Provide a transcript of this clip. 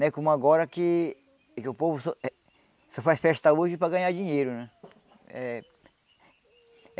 Não é como agora que que o povo só eh só faz festa hoje para ganhar dinheiro, né? Eh